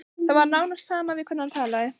Það var nánast sama við hvern hann talaði.